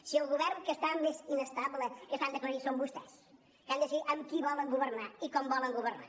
si el govern que està més inestable que s’han d’aclarir són vostès que han de decidir amb qui volen governar i com volen governar